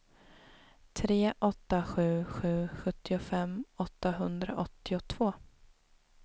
tre åtta sju sju sjuttiofem åttahundraåttiotvå